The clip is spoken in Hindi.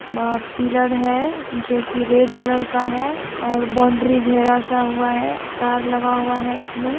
मा पिलर हे जो की रेड कलर का हे ओर बोंदरी घेरासा हुवा हे तार लगा हुवा हे इसमें--